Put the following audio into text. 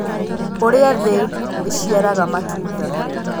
Ũrĩa thĩ ĩciaraga matunda.